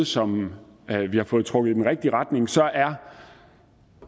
som vi har fået trukket i den rigtige retning så er